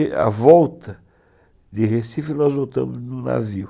E, à volta de Recife, nós voltamos no navio.